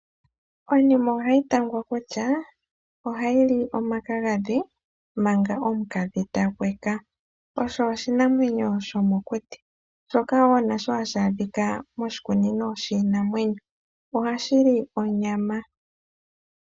Onime ohayi tangwa kutya ,oha yili omakagadhi mpanga omukadhi ta hweka, sho oshinamwenyo shomokuti ,shoka nasho hashi a dhika moshikunino shiinamwenyo . Ohashi li onyama.